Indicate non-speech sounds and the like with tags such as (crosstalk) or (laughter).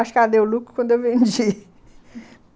Acho que ela deu lucro quando eu vendi (laughs)